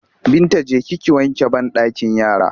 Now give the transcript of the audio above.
Binta je ki ki wanke banɗakin yara!